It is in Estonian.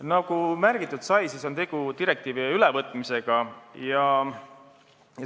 Nagu märgitud sai, tegu on direktiivi ülevõtmisega.